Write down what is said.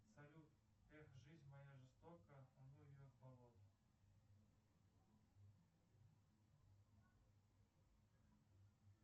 салют эх жизнь моя жестока да ну ее в болото